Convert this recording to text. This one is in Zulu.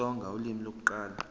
isitsonga ulimi lokuqala